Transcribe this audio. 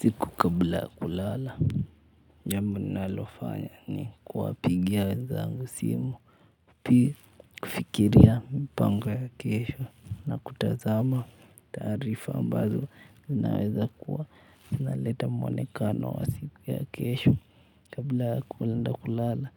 Usiku kabla ya kulala jambo nalofanya ni kuwapigia wenzangu simu. Pili kufikiria mipango ya kesho na kutazama taarifa ambazo zinaweza kuwa zinaleta mwonekano wa siku ya kesho. Kabla ya kuenda kulala